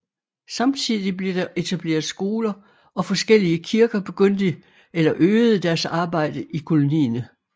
Samtidig blev der etableret skoler og forskellige kirker begyndte eller øgede deres arbejde i kolonien